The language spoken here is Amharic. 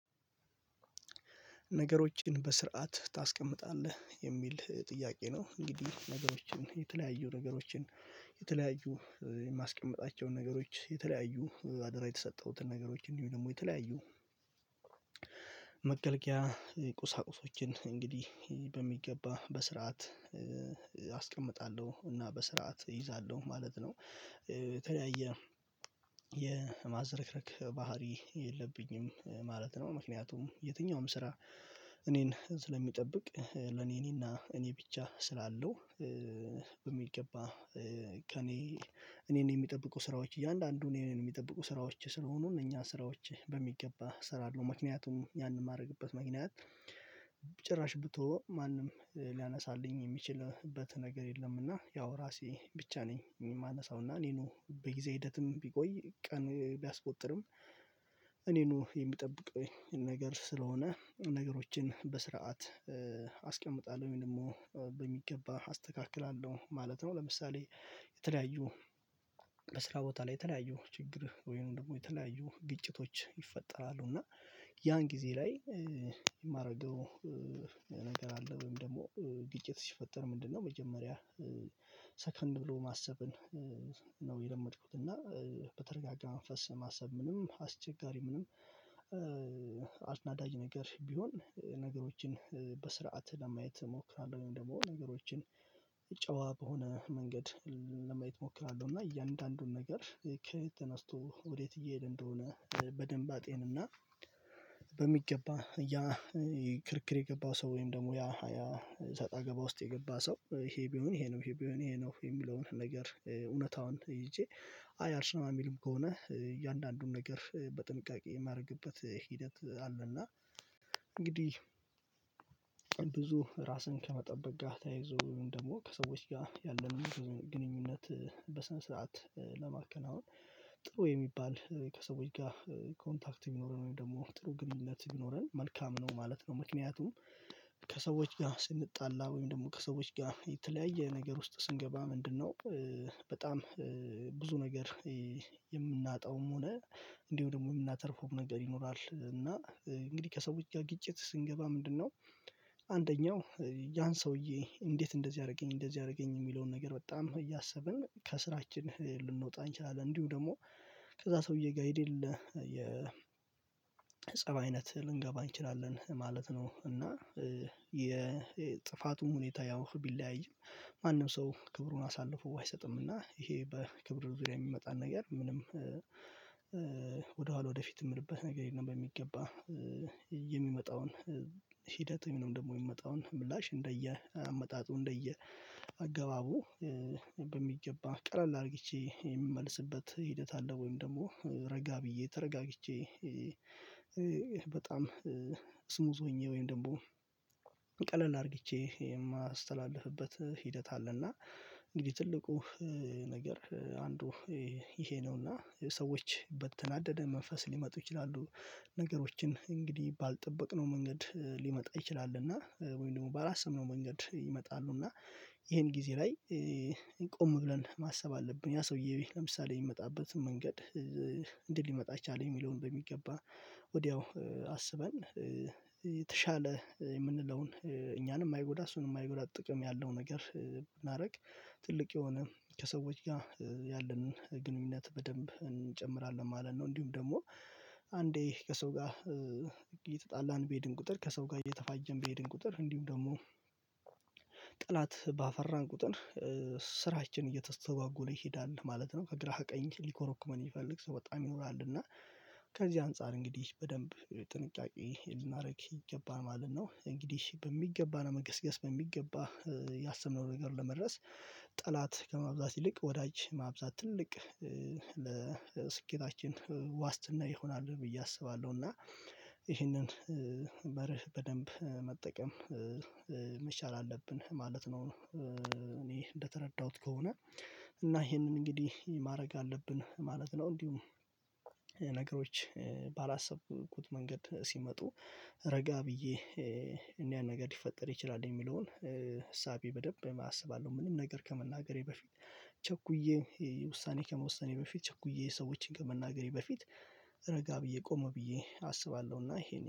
ነገሮችን በስርዓት ታስቀምጣለህ የሚል ጥያቄ ነው? እንግዲህ ነገሮችን የተለያዩ ነገሮችን የተለያዩ የማስቀመጣቸውን ነገሮች የተለያዩ አደራ የተሰጠሁትን ነገሮችን እንዲሁ ደግሞ የተለያዩ መገልገያ ቁሳቁሶችን እንግዲህ በሚገባ በስርዓት አስቀምጣለሁ እና በስርዓት እይዛለሁ ማለት ነው የተለያየ የማዘረክረክ ባህሪ የለብኝም ማለት ነው። ምክንያቱም የትኛውም ስራ እኔን ስለሚጠብቅ ለኔ እኔና እኔ ብቻ ስላለው በሚገባ ከእኔ እኔን የሚጠብቁ ስራዎች እያንዳንዱን እኔን የሚጠብቁ ስራዎች ስለሆኑ እነኛን ስራዎች በሚገባ እሰራለሁ ምክንያቱም ያንን የማደርግበት ምክንያት ጭራሽ ብተወው ማንም ሊያነሳልኝ የሚችልበት ነገር የለም እና ያው ራሴ ብቻ ነኝ የማነሳው እና እኔኑ በጊዜ ሂደትም ቢቆይ ቀን ቢያስቆጥርም እኔኑ የሚጠብቅኝ ነገር ስለሆነ ነገሮችን በስርዓት አስቀምጣለሁ ወይም ደግሞ በሚገባ አስተካክላለሁ ማለት ነው። ለምሳሌ የተለያዩ በስራ ቦታ ላይ የተለያዩ ችግር ወይም ደግሞ የተለያዩ ግጭቶች ይፈጠራሉ እና ያን ጊዜ ላይ የማደርገው ነገር አለ ወይም ደግሞ ግጭት ሲፈጠር ምንድነው መጀመሪያ ሰከን ብሎ ማሰብን ነው የለመድኩት እና በተረጋጋ መንፈስ ማሰብ ምንም አስቸጋሪ ምንም አናዳጅ ነገር ቢሆን ነገሮችን በስርዓት ለማየት እሞክራለሁ ወይም ደግሞ ነገሮችን ጨዋ በሆነ መንገድ ለማየት እሞክራለሁ። እና እያንዳንዱን ነገር ከየት ተነስቶ ወዴት እየሄድ እንደሆነ በደንብ አጤንና በሚገባ ያ ክርክር የገባው ሰው ወይም ደግሞ ያ ያ ሰጣ ገባ ውስጥ የገባ ሰው ይሄ ቢሆን ይሄ ነው ይሄ ቢሆን ይሄ ነው የሚለውን ነገር እውነታውን ይዤ አይ አልሰማም የሚልም ከሆነ እያንዳንዱን ነገር በጥንቃቄ የማደርግበት ሂደት አለና እንግዲህ ብዙ ራስን ከመጠበቅ ጋር ተያይዞ ወይም ደግሞ ከሰዎች ጋር ያለንን ግንኙነት በስነ ስርዓት ለማከናወን ጥሩ የሚባል ከሰዎች ጋር ኮንታክት ቢኖረን ወይም ደግሞ ጥሩ ግንኙነት ቢኖረን መልካም ነው ማለት ነው ምክንያቱም ከሰዎች ጋር ስንጣላ ወይም ደግሞ ከሰዎች ጋር የተለያየ ነገር ውስጥ ስንገባ ምንድነው? በጣም ብዙ ነገር የምናጣውም ሆነ እንዲሁ ደግሞ የምናተርፈውም ነገር ይኖራል እና እንግዲህ ከሰዎች ጋር ግጭት ስንገባ ምንድነው? አንደኛው ያን ሰውዬ እንዴት እንደዚህ አደረገኝ እንደዚህ አደረገኝ የሚለውን ነገር በጣም እያሰብን ከስራችን ልንወጣ እንችላለን እንዲሁ ደግሞ ከዛ ሰውዬ ጋር የሌለ የፀብ አይነት ልንገባ እንችላለን ማለት ነው። እና የጥፋቱን ሁኔታ ያው ቢለያይም ማንም ሰው ክብሩን አሳልፎ አይሰጥምና ይሄ በክብር ዙሪያ የሚመጣን ነገር ምንም ወደ ኋላ ወደፊት የምልበት ነገር የለም። በሚገባ የሚመጣውን ሂደት ወይም ደግሞ የሚመጣውን ምላሽ እንደየ አመጣጡ እንደየ አገባቡ በሚገባ ቀለል አርግቼ የምመልስበት ሂደት አለ ወይም ደግሞ ረጋ ብዬ ተረጋግቼ በጣም ስሙዝ ሆኜ ወይም ደግሞ ቀለል አርግቼ የማስተላልፍበት ሂደት አለና እንግዲህ ትልቁ ነገር አንዱ ይሄ ነው። እና ሰዎች በተናደደ መንፈስ ሊመጡ ይችላሉ ነገሮችን እንግዲህ ባልጠበቅነው መንገድ ሊመጣ ይችላል እና ወይም ደግሞ ባላሰብነው መንገድ ይመጣሉ እና ይሄን ጊዜ ላይ ቆም ብለን ማሰብ አለብን ያ ሰውዬ ለምሳሌ የሚመጣበትን መንገድ እንዴት ሊመጣ ቻለ የሚለውን በሚገባ ወዲያው አስበን የተሻለ የምንለውን እኛንም ማይጎዳ እሱንም ማይጎዳ ጥቅም ያለው ነገር ብናደርግ ትልቅ የሆነ ከሰዎች ጋር ያለንን ግንኙነት በደንብ እንጨምራለን ማለት ነው። እንዲሁም ደግሞ አንዴ ከሰው ጋር እየተጣላን በሄድን ቁጥር ከሰው ጋር እየተፋጀን በሄድን ቁጥር እንዲሁም ደግሞ ጠላት ባፈራን ቁጥር ስራችን እየተስተጓጎለ ይሄዳል ማለት ነው። ከግራህ ከቀኝህ ሊኮረኩመን የሚፈልግ ሰው በጣም ይኖራል እና ከዚህ አንፃር እንግዲህ በደንብ ጥንቃቄ ልናደርግ ይገባል ማለት ነው። እንግዲህ በሚገባ ለመገስገስ በሚገባ ያሰብነው ነገር ለመድረስ ጠላት ከማብዛት ይልቅ ወዳጅ ማብዛት ትልቅ ለስኬታችን ዋስትና ይሆናል ብዬ አስባለሁ እና ይህንን መርህ በደንብ መጠቀም መቻል አለብን ማለት ነው። እኔ እንደተረዳሁት ከሆነ እና ይሄንን እንግዲህ ማድረግ አለብን ማለት ነው። እንዲሁም ነገሮች ባላሰብኩት መንገድ ሲመጡ ረጋ ብዬ ምን እይነት ነገር ሊፈጠር ይችላል የሚለውን እሳቤ በደንብ አስባለሁ ምንም ነገር ከመናገሬ በፊት ቸኩዬ ውሳኔ ከመወሰኔ በፊት ቸኩዬ ሰዎችን ከመናገሬ በፊት ረጋ ብዬ ቆም ብዬ አስባለሁና ይሄን